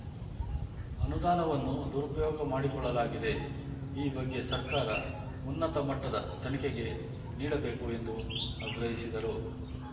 ಅನುದಾನವನ್ನು ದುರುಪಯೋಗ ಮಾಡಿಕೊಳ್ಳಲಾಗಿದೆ ಈ ಬಗ್ಗೆ ಸರ್ಕಾರ ಉನ್ನತ ಮಟ್ಟದ ತನಿಖೆಗೆ ನೀಡಬೇಕು ಎಂದು ಆಗ್ರಹಿಸಿದರು